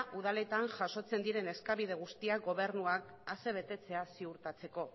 udaletan jasotzen diren eskabide guztiak gobernuak asebetetzea ziurtatzeko